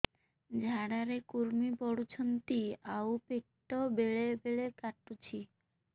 ଝାଡା ରେ କୁର୍ମି ପଡୁଛନ୍ତି ଆଉ ପେଟ ବେଳେ ବେଳେ କାଟୁଛି